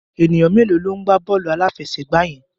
Ènìyàn mélòó ló ń gbá bọ́ọ̀lù aláfẹsẹ̀gbá yẹn?